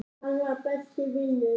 Hann var. besti vinur minn.